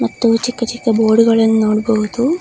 ಮತ್ತು ಚಿಕ್ಕ ಚಿಕ್ಕ ಬೊರ್ಡುಗಳ್ಳನ್ನು ನೋಡಬಹುದು.